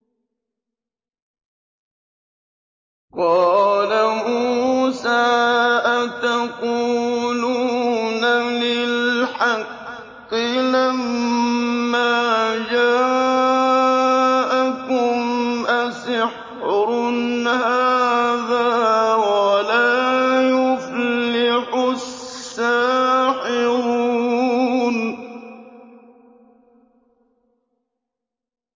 قَالَ مُوسَىٰ أَتَقُولُونَ لِلْحَقِّ لَمَّا جَاءَكُمْ ۖ أَسِحْرٌ هَٰذَا وَلَا يُفْلِحُ السَّاحِرُونَ